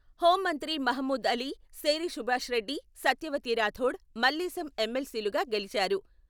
హెూంమంత్రి మహమూద్ అలీ, శేరి సుభాష్ రెడ్డి , సత్యవతి రాథోడ్, మల్లేశం ఎమ్మెల్సీలుగా గెలించారు.